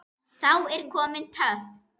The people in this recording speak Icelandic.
Þá er komin töf.